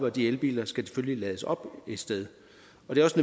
og de elbiler skal selvfølgelig lades op et sted